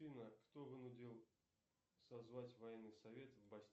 афина кто вынудил созвать военный совет в